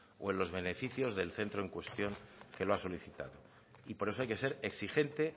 o en los beneficios del centro en cuestión que lo ha solicitado y por eso hay que ser exigente